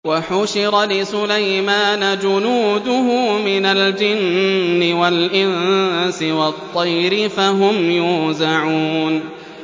وَحُشِرَ لِسُلَيْمَانَ جُنُودُهُ مِنَ الْجِنِّ وَالْإِنسِ وَالطَّيْرِ فَهُمْ يُوزَعُونَ